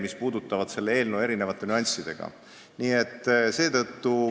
Need puudutavad selle eelnõu erinevaid nüansse.